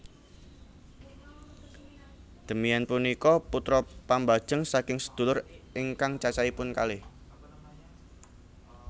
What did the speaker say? Demian punika putra pambajeng saking sedulur ingkang cacahipun kalih